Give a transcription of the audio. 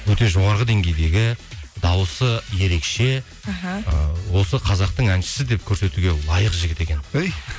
өте жоғарғы деңгейдегі дауысы ерекше іхі ы осы қазақтың әншісі деп көрсетуге лайық жігіт екен өй